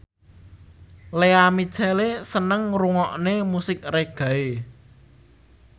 Lea Michele seneng ngrungokne musik reggae